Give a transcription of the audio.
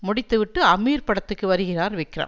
முடித்து விட்டு அமீர் படத்துக்கு வருகிறார் விக்ரம்